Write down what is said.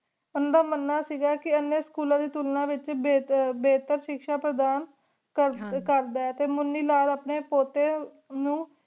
ਓਹ੍ਨ੍ਦਾ ਮਨਾ ਸੀਗਾ ਕੀ ਓਹਨਾ school ਦਾ ਤੁਲਣਾ ਵਿਚ ਬੇਹਤਰ ਸ਼ਿਕ੍ਸ਼ਾ ਪਰਧਾਨ ਕਰਦਾ ਟੀ ਮੁਨੀ ਲਾਲ ਅਪਨੀ ਪੋਟੀ ਨੂ